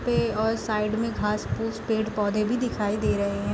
के और साइड में घास फूस पेड़ पौधे भी दिखाई दे रहे हैं |